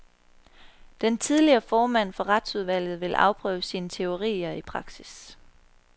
Den tidligere formand for retsudvalget vil afprøve sine teorier i praksis.